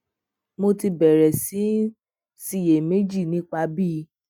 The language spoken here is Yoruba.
mo ti bèrè sí í ṣiyèméjì nípa bí